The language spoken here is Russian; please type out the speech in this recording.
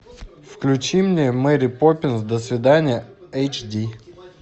включи мне мэри поппинс до свидания эйч ди